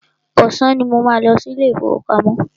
Ọ̀sán ní mò ń lọ sí ilé ìfọwọ́pamo.